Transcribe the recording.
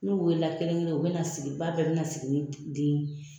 N'u wele la kelen kelen , u be na sigi ba bɛɛ be na sigi ni den